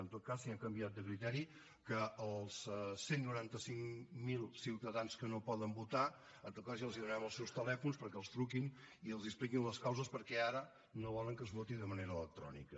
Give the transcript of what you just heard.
en tot cas si han canviat de criteri que als cent i noranta cinc mil ciutadans que no poden votar en tot cas ja els donarem els seus telèfons perquè els truquin i els expliquin les causes per què ara no volen que es voti de manera electrònica